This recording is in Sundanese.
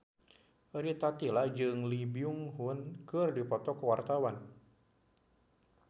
Rita Tila jeung Lee Byung Hun keur dipoto ku wartawan